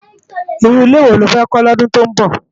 Irú ilé wó ló fè kò lòdún tó nbó?